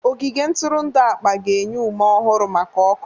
Ogige ntụrụndụ akpa ga-enye ume ọhụrụ maka ọkụ.